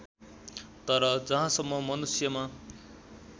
तर जहाँसम्म मनुष्यमा